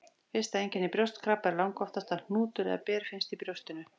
Fyrsta einkenni brjóstkrabba er langoftast að hnútur eða ber finnst í brjóstinu.